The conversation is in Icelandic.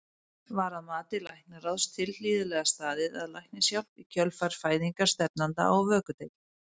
Var að mati læknaráðs tilhlýðilega staðið að læknishjálp í kjölfar fæðingar stefnanda á vökudeild?